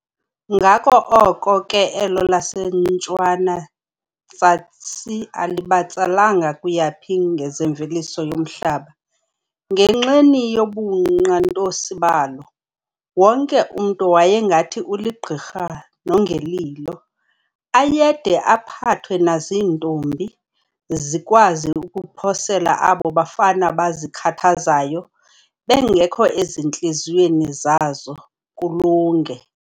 Ngako oko ke elo laseNtshwana-tsasi alibatsalanga kuyaphi ngezemveliso yomhlaba, ngenxeni yobunqantosi balo. Wonke umntu wayengathi uligqirha nongelilo, ayede aphathwe naziintombi, zikwazi ukuphosela aabo bafana bazikhathazayo, bengekho ezintliziyweni zazo, kulunge.